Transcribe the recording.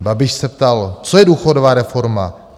Babiš se ptal - co je důchodová reforma?